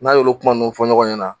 N'a y'olu kuma ninnu fɔ ɲɔgɔn ɲɛna